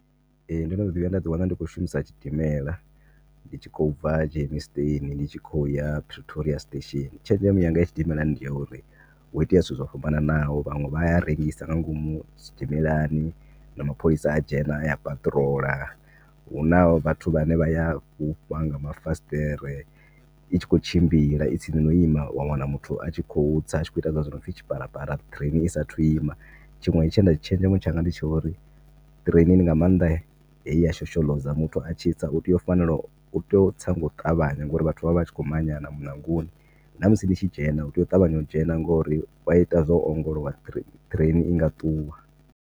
Ee, ndo no ḓi vhuya nda ḓi wana ndi kho shumisa tshidimela ndi kho bva Germiston ndi tshi kho ya Pretoria station. Tshenzhemo yanga ya tshidimela ndi ya uri hu itea zwithu zwo fhambananaho vhanwe vhaya rengisa nga ngomu tshidimelani na mapholisa a dzhena aya a patrol huna vhathu vhane vhaya fhufha nga mafasiṱere itshi kho tshimbila i tsini na u ima wa wana muthu a tshi kho u tsa a tshi kho ita hezwila zwi nopfi tshiparapara train isathu ima. Tshinwe tshenda tshenzhemo tshanga ndi tsha uri train ni nga maanḓa heyi ya shoshoḽoza muthu atshi tsa muthu u tea u fanela u tea u tsa nga u ṱavhanya ngori vhathu vha vha vhatshi kho manyana muṋangoni na musi nitshi dzhena u tea u ṱavhanya u dzhena ngori wa ita zwo ongolowa train inga ṱuwa.